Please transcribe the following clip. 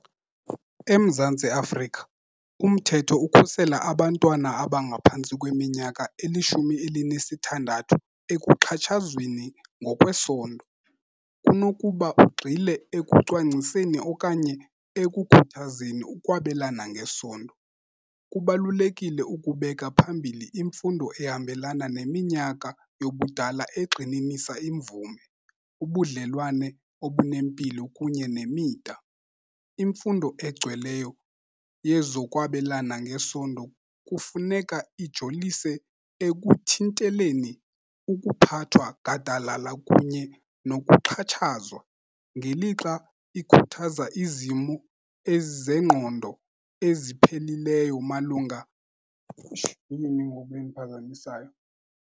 EMzantsi Afrika umthetho ukhusela abantwana abangaphantsi kweminyaka elishumi elinesithandathu ekuxhatshazweni ngokwesondo, kunokuba ugxile ekucwangciseni okanye ekukhuthazeni ukwabelana ngesondo. Kubalulekile ukubeka phambili imfundo ehambelana neminyaka yobudala egxininisa imvume, ubudlelwane obunempilo kunye nemida. Imfundo egcweleyo yezokwabelana ngesondo kufuneka ijolise ekuthinteleni ukuphathwa gadalala kunye nokuxhatshazwa, ngelixa ikhuthaza izimo zengqondo, eziphelileyo malunga ke ngoku endiphazamisayo?